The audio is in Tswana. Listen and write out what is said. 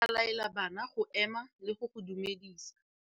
Morutabana o tla laela bana go ema le go go dumedisa.